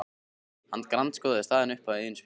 Hann grandskoðaði staðinn upp á eigin spýtur.